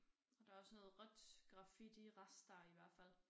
Og der også noget rødt graffiti rester i hvert fald